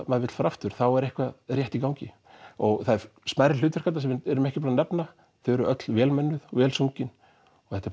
maður vill fara aftur þá er eitthvað rétt í gangi það eru smærri hlutverk þarna sem við erum ekki búnir að nefna þau eru öll vel mönnuð vel sungin þetta er